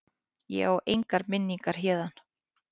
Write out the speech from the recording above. Ég á engar minningar héðan.